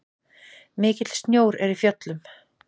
Mikill snjór er í fjöllum.